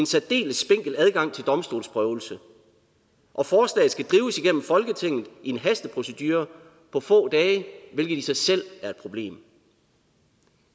særdeles spinkel adgang til domstolsprøvelse og forslaget skal drives igennem folketinget i en hasteprocedure på få dage hvilket i sig selv er et problem